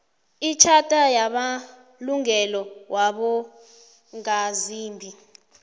itjhatha yamalungelo wabongazimbi